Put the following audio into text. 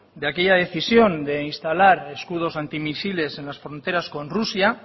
de aquella decisión de instalar escudos antimisiles en las fronteras con rusia